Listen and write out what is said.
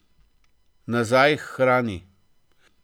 Nazaj k hrani.